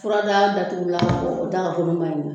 Furadaga datugulan o daga kolon ba da la